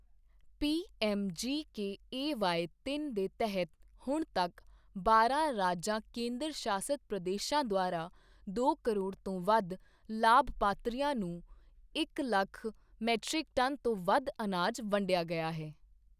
PMGKAY ਤਿੰਨ ਦੇ ਤਹਿਤ ਹੁਣ ਤੱਕ ਬਾਰਾਂ ਰਾਜਾਂ ਕੇਂਦਰ ਸ਼ਾਸਤ ਪ੍ਰਦੇਸ਼ਾਂ ਦੁਆਰਾ ਦੋ ਕਰੋੜ ਤੋਂ ਵੱਧ ਲਾਭਪਾਤਰੀਆਂ ਨੂੰ ਇੱਕ ਲੱਖ ਮੀਟ੍ਰਿਕ ਟਨ ਤੋਂ ਵੱਧ ਅਨਾਜ ਵੰਡਿਆ ਗਿਆ ਹੈ